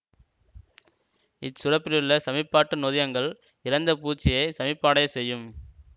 இச்சுரப்பிலுள்ள சமிபாட்டு நொதியங்கள் இறந்த பூச்சியை சமிபாடையச் செய்யும்